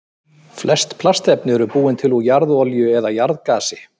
Flest plastefni eru búin til úr jarðolíu eða jarðgasi.